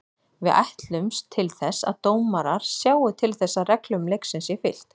Við ætlumst til þess að dómarar sjái til þess að reglum leiksins sé fylgt.